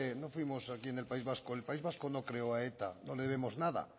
no fuimos aquí en el país vasco el país vasco no creó a eta no le debemos nada